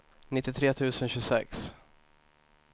nittiotre tusen tjugosex